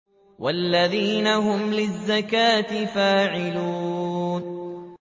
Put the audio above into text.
وَالَّذِينَ هُمْ لِلزَّكَاةِ فَاعِلُونَ